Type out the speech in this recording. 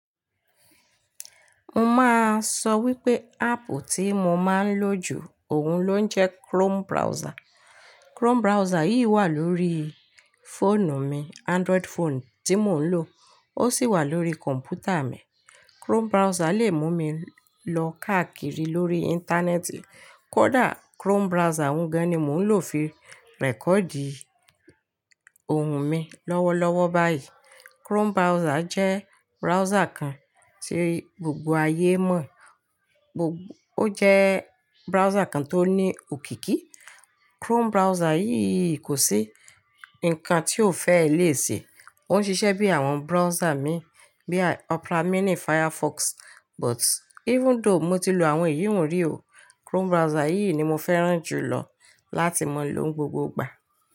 Mo máa sọ wípé áàpù tí mo máa ń lò jù òun ló ń jẹ́ Chrome browser. Chrome browser yìí wà lórí fóònù mi, Android fọ́ọ̀nú tí mò ń lò, ó sì wà lórí kọ̀m̀pútà mi. Chrome browser lè mú mi lọ káàkiri lórí íńtánẹ́ẹ̀tì, kódà Chrome browser gan-an ni mò ń lò fi rẹ̀kọ̀dì ohùn mi lọ́wọ́lọ́wọ́ báyìí. Chrome browser jẹ́ browser kan tí gbogbo ayé mọ̀, ó jẹ́ browser kan tó ní òkìkí. Chrome browser yìí kò sí nǹkan tí ò fẹ́ ẹ léè ṣe. Ó ń ṣiṣẹ́ bí àwọn browser mi bíi Opera mini, Firefox, but even though mo ti lò àwọn ìhìnrere oo, Chrome browser yìí ni mo fẹ́ràn jù lọ láti máa lò ó gbogbo ìgbà.